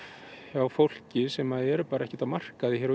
hjá fólki sem eru bara ekkert á markaði hér